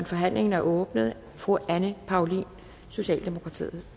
forhandlingen er åbnet fru anne paulin socialdemokratiet